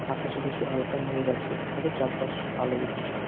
আকাশে কিছু হালকা মেঘ আছে তবে চারপাশ আলো উজ্জ্বল।